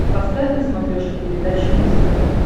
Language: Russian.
поставь на смотрешке передачу муз тв